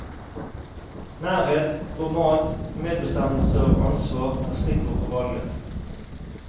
Nærhet, format, medbestemmelse og ansvar er stikkord for valget.